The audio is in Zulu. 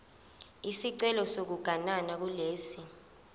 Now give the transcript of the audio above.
isicelo sokuganana kulesi